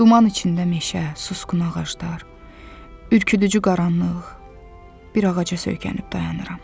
Duman içində meşə, susqun ağaclar, ürküdücü qaranlıq, bir ağaca söykənib dayanıram.